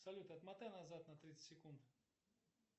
салют отмотай назад на тридцать секунд